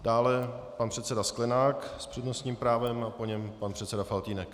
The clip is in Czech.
Dále pan předseda Sklenák s přednostním právem a po něm pan předseda Faltýnek.